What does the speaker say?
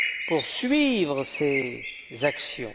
pour suivre ces actions.